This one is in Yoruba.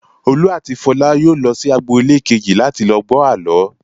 Olú àti Fọlá yóò lọ sí agboolé kejì láti lọ gbọ́ àlọ́.